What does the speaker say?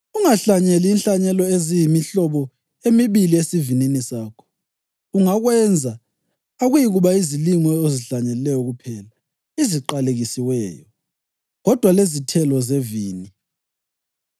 Ungahlanyeli inhlanyelo eziyimihlobo emibili esivinini sakho; ungakwenza, akuyikuba yizilimo ozihlanyelayo kuphela eziqalekiswayo, kodwa lezithelo zevini.